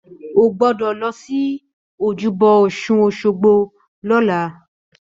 Ó gbọ́dọ̀ lọ sí ojúbọ Òsun Òsogbo lọ́la!